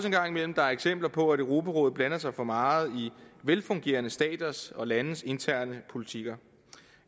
en gang imellem er eksempler på at europarådet blander sig for meget i velfungerende staters og landes interne politikker